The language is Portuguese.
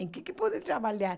Em que podem trabalhar?